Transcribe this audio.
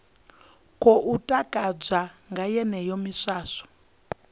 khou takadzwa nga yeneyo miswaswo